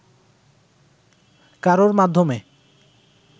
কারোর মাধ্যমে